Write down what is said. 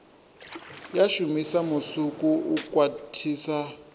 ya shumisa musuku u khwathisa